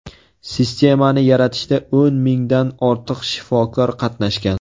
Sistemani yaratishda o‘n mingdan ortiq shifokor qatnashgan.